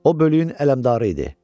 O bölüyün ələmdarı idi.